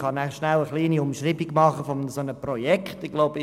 Ich kann gerne eine kleine Umschreibung eines solchen Projekts liefern.